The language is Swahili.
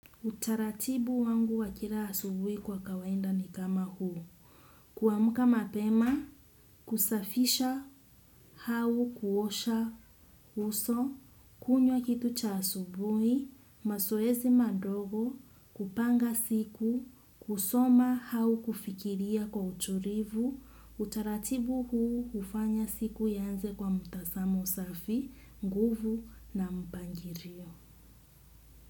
Utaratibu wangu wakila asubuhi kwa kawaida ni kama huu, kuamka mapema, kusafisha, au kuosha, uso, kunywa kitu cha asubuhi, mazoezi madogo, kupanga siku, kusoma au kufikiria kwa utulivu, utaratibu huu ufanya siku ianze kwa mtazamo safi, nguvu na mpangilio.